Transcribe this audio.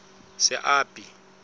seapi